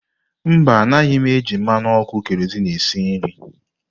Mba, anaghị m eji mmanụ ọkụ keroziinu esi nri.